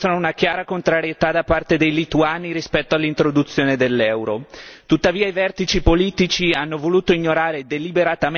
Come indicato dalla relazione discussa in commissione, i sondaggi mostrano una chiara contrarietà da parte dei lituani rispetto all'introduzione dell'euro.